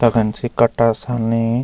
तखन सी कट्टा सरनी।